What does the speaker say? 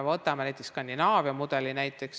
Võtame näiteks Skandinaavia mudeli.